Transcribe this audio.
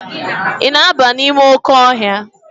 Ị na-aba n'ime oke ọhịa?